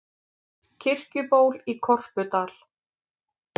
Kirkjuból í Korpudal.